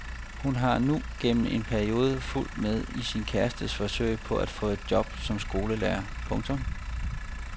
Hun har nu gennem en periode fulgt med i sin kærestes forsøg på at få job som skolelærer. punktum